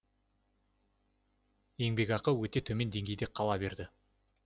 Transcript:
еңбекақы өте төмен деңгейде қала берді